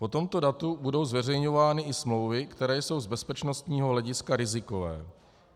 Po tomto datu budou zveřejňovány i smlouvy, které jsou z bezpečnostního hlediska rizikové.